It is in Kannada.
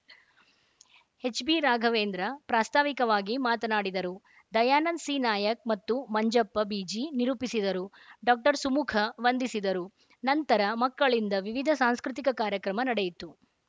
ಎಚ್‌ಬಿ ರಾಘವೇಂದ್ರ ಪ್ರಾಸ್ತಾವಿಕವಾಗಿ ಮಾತನಾಡಿದರು ದಯಾನಂದ ಸಿ ನಾಯ್ಕ್ ಮತ್ತು ಮಂಜಪ್ಪ ಬಿಜಿ ನಿರೂಪಿಸಿದರು ಡಾಸುಮುಖ ವಂದಿಸಿದರು ನಂತರ ಮಕ್ಕಳಿಂದ ವಿವಿಧ ಸಾಂಸ್ಕೃತಿಕ ಕಾರ್ಯಕ್ರಮ ನಡೆಯಿತು